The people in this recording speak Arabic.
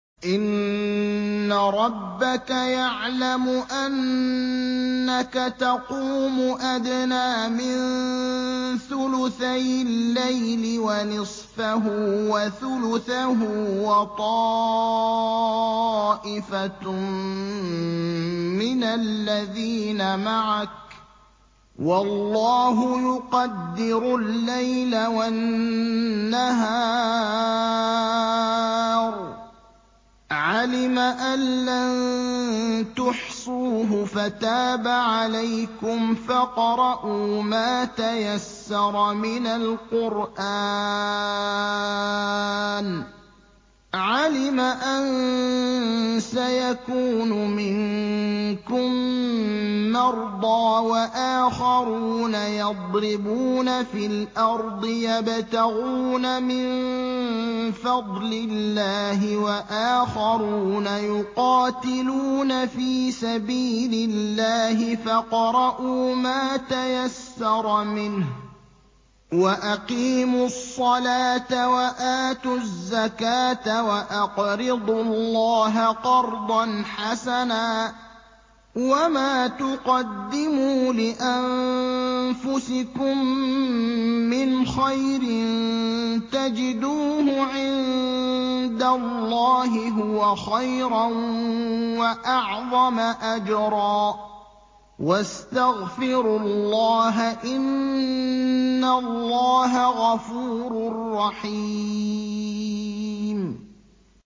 ۞ إِنَّ رَبَّكَ يَعْلَمُ أَنَّكَ تَقُومُ أَدْنَىٰ مِن ثُلُثَيِ اللَّيْلِ وَنِصْفَهُ وَثُلُثَهُ وَطَائِفَةٌ مِّنَ الَّذِينَ مَعَكَ ۚ وَاللَّهُ يُقَدِّرُ اللَّيْلَ وَالنَّهَارَ ۚ عَلِمَ أَن لَّن تُحْصُوهُ فَتَابَ عَلَيْكُمْ ۖ فَاقْرَءُوا مَا تَيَسَّرَ مِنَ الْقُرْآنِ ۚ عَلِمَ أَن سَيَكُونُ مِنكُم مَّرْضَىٰ ۙ وَآخَرُونَ يَضْرِبُونَ فِي الْأَرْضِ يَبْتَغُونَ مِن فَضْلِ اللَّهِ ۙ وَآخَرُونَ يُقَاتِلُونَ فِي سَبِيلِ اللَّهِ ۖ فَاقْرَءُوا مَا تَيَسَّرَ مِنْهُ ۚ وَأَقِيمُوا الصَّلَاةَ وَآتُوا الزَّكَاةَ وَأَقْرِضُوا اللَّهَ قَرْضًا حَسَنًا ۚ وَمَا تُقَدِّمُوا لِأَنفُسِكُم مِّنْ خَيْرٍ تَجِدُوهُ عِندَ اللَّهِ هُوَ خَيْرًا وَأَعْظَمَ أَجْرًا ۚ وَاسْتَغْفِرُوا اللَّهَ ۖ إِنَّ اللَّهَ غَفُورٌ رَّحِيمٌ